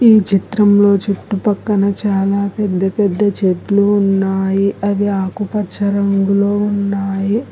ఈ చిత్రంలో చుట్టుపక్కన చాలా పెద్ద పెద్ద చెట్లు ఉన్నాయి అవి ఆకుపచ్చ రంగులో ఉన్నాయి.